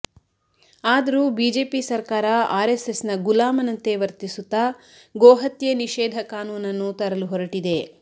ಆದರೂ ಬಿಜೆಪಿ ಸರ್ಕಾರ ಆರೆಸ್ಸೆಸ್ನ ಗುಲಾಮನಂತೆ ವರ್ತಿಸುತ್ತಾ ಗೋಹತ್ಯೆ ನಿಷೇಧ ಕಾನೂನನ್ನು ತರಲು ಹೊರಟಿದೆ